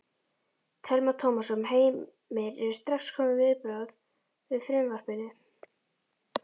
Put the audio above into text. Telma Tómasson: Heimir, eru strax komin viðbrögð við frumvarpinu?